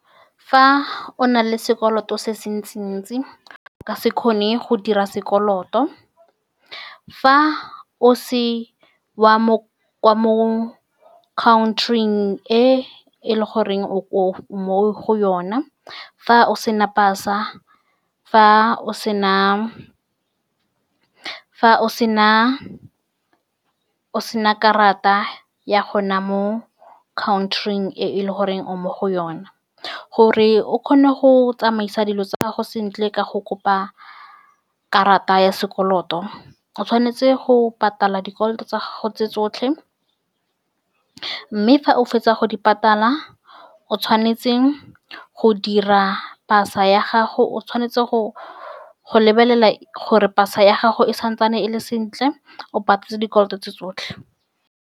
Fa o na le sekoloto se se ntsi-ntsi, o ka se kgone go dira sekoloto fa o se wa mo country-ing e e leng gore o ko, mo go yona. Fa o sena pasa, fa o sena, fa o sena, o sena karata ya gone mo country-ing e e leng gore o mo go yone gore o kgone go tsamaisa dilo tsa gago sentle. Ka go kopa karata ya sekoloto, o tshwanetse go patala dikoloto tsa gago tse tsotlhe, mme fa o fetsa go di patala, o tshwanetse go dira pasa ya gago. O tshwanetse go lebelela gore pasa ya gago e santsane e le sentle, o patetse dikoloto tse tsotlhe.